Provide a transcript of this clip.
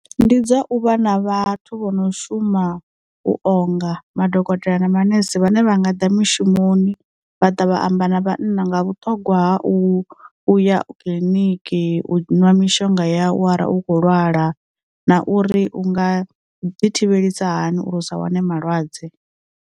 Ndi dza u vha na vhathu vho no shuma u o nga madokotela na manese vhane vha nga di mishumoni vha ṱavha amba na vhana nga vhuṱhogwa u u ya kiḽiniki, u ṅwa mishonga ya u arali u kho lwala, na uri u nga ḓi thivhelisa hani uri u sa wane malwadze.